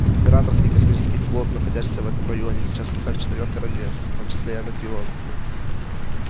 императорский космический флот находящийся в этом районе сейчас в руках четырёх королевств в том числе и анакреона